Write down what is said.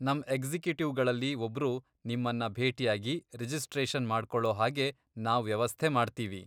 ನಮ್ ಎಕ್ಸಿಕ್ಯುಟಿವ್ಗಳಲ್ಲಿ ಒಬ್ರು ನಿಮ್ಮನ್ನ ಭೇಟಿಯಾಗಿ ರಿಜಿಸ್ಟ್ರೇಷನ್ ಮಾಡ್ಕೋಳೋ ಹಾಗೆ ನಾವ್ ವ್ಯವಸ್ಥೆ ಮಾಡ್ತೀವಿ.